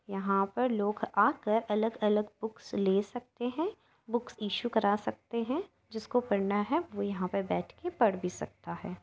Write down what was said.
यहाँ पर लोग आकर अलग-अलग बुक्स ले सकते हैं बुक्स इश्यू करा सकते हैं जिसको पढ़ना है वो यहाँ पे बैठ के पढ़ भी सकता है।